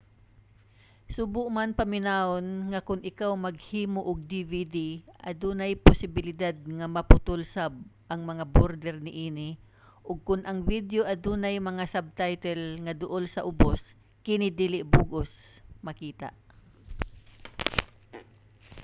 subo man paminawon nga kon ikaw maghimo og dvd adunay posibilidad nga maputol sab ang mga border niini ug kon ang video adunay mga subtitle nga duol sa ubos kini dili sa bug-os makita